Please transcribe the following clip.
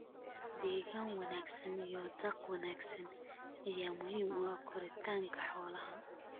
Deegaan wanaagsan iyo daaq wanaagsan ayaa muhiim u ah koritaanka xoolaha.